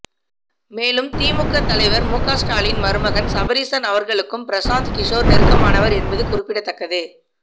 மேலும் திமுக தலைவர் மு க ஸ்டாலின் மருமகன் சபரீசன் அவர்களுக்கும் பிரசாந்த் கிஷோர் நெருக்கமானவர் என்பது குறிப்பிடத்தக்கது